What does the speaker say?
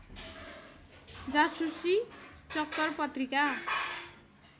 जासुसी चक्कर पत्रिका